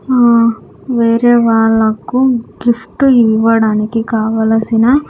ఆ వేరే వాళ్ళకు గిఫ్ట్ ఇవ్వడానికి కావలసిన.